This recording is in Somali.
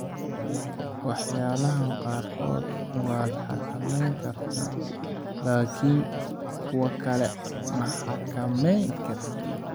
Waxyaalahan qaarkood waad xakamayn kartaa laakiin kuwa kale ma xakamayn kartid.